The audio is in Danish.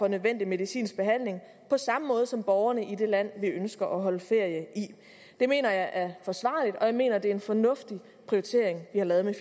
nødvendig medicinsk behandling på samme måde som borgerne i det land vi ønsker at holde ferie i det mener jeg er forsvarligt og jeg mener det er en fornuftig prioritering vi har lavet med